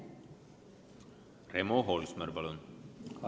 Remo Holsmer, palun!